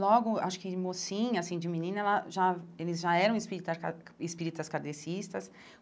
Logo, acho que de mocinha assim, de menina, ela já eles já eram espírita espíritas kardecistas.